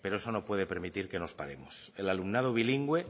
pero eso no puede permitir que nos paremos el alumnado bilingüe